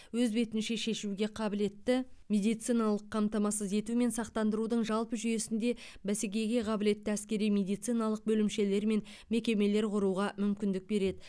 өз бетінше шешуге қабілетті медициналық қамтамасыз ету мен сақтандырудың жалпы жүйесінде бәсекеге қабілетті әскери медициналық бөлімшелер мен мекемелер құруға мүмкіндік береді